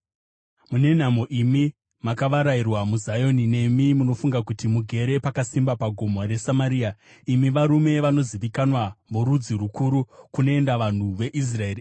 Mune nhamo imi makavarairwa muZioni, nemi munofunga kuti mugere pakasimba paGomo reSamaria, imi varume vanozivikanwa vorudzi rukuru, kunoenda vanhu veIsraeri!